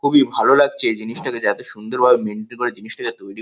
খুবই ভালো লাগছে জিনিসটাকে যাতে সুন্দরভাবে মেনটেন করে জিনিসটাকে তৈরি--